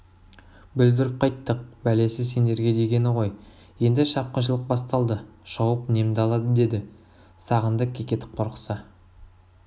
бүлдіріп қайттық бәлесі сендерге дегені ғой енді шапқыншылық басталды шауып немді алады деді сағындық кекетіп қорықса